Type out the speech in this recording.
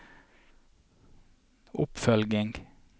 oppfølging